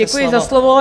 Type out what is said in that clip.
Děkuji za slovo.